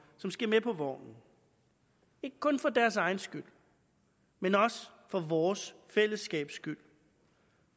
som skal med på vognen ikke kun for deres egen skyld men også for vores fællesskabs skyld